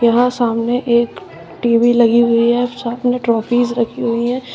यहां सामने एक टीवी लगी हुई है सामने ट्रॉफीज रखी हुई हैं।